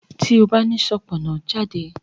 ti o ba ni Sopona jade!